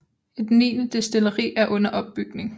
Et niende destilleri er under opbygning